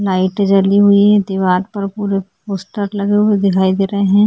Light जली हुई है दीवाल पर पुरे पोस्टर लगे हुए दिखाई दे रहै हैं।